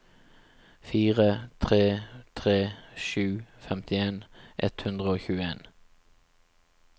fire tre tre sju femtien ett hundre og tjueen